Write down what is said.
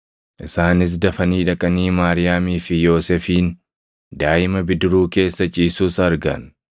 Isaanis dafanii dhaqanii Maariyaamii fi Yoosefin, daaʼima bidiruu keessa ciisus argan.